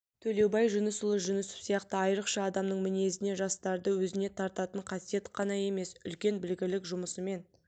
төлеубай жүнісұлы жүнісов сияқты айрықша адамның мінезіне жастарды өзіне тартатын қасиет қана емес үлкен білгірлік жұмысымен